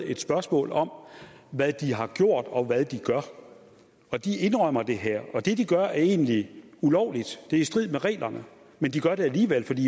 et spørgsmål om hvad de har gjort og hvad de gør og de indrømmer det her det de gør er egentlig ulovligt det er i strid med reglerne men de gør det alligevel fordi